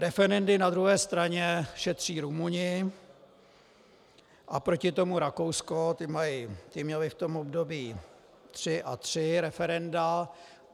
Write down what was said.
Referendy na druhé straně šetří Rumuni a proti tomu Rakousko, ti měli v tom období tři a tři referenda.